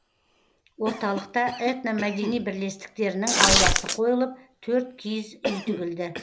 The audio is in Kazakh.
орталықта этномәдени бірлестіктерінің ауласы қойылып төрт киіз үй тігілді